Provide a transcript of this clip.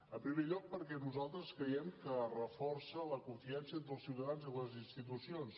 en primer lloc perquè nosaltres creiem que reforça la confiança entre els ciutadans i les institucions